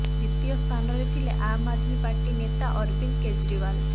ଦ୍ବିତୀୟ ସ୍ଥାନରେ ଥିଲେ ଆମ୍ ଆଦ୍ମୀ ପାର୍ଟି ନେତା ଅରବିନ୍ଦ କେଜରିୱାଲ